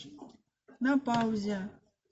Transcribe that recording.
на паузе